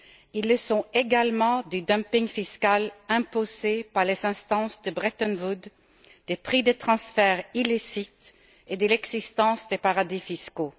Ils le sont également du dumping fiscal imposé par les instances de Bretton Woods, des prix des transferts illicites et de l'existence des paradis fiscaux.